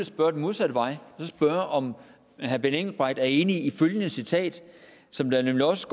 spørge den modsatte vej at spørge om herre benny engelbrecht er enig i følgende citat som der nemlig også